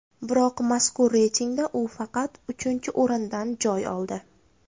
Biroq mazkur reytingda u faqat uchinchi o‘rindan joy oldi.